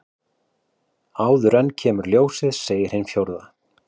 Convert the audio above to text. Áður en kemur ljósið segir hin fjórða.